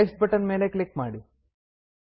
next button ಮೇಲೆ click ಮಾಡಿ